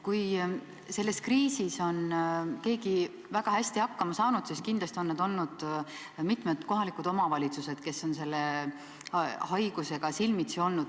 Kui selles kriisis on keegi väga hästi hakkama saanud, siis kindlasti on need olnud mitmed kohalikud omavalitsused, kes on selle haigusega silmitsi seisnud.